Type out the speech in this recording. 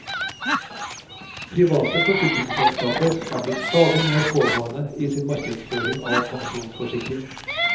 Private forsikringsselskaper er blitt stadig mer pågående i sin markedsføring av pensjonsforsikring.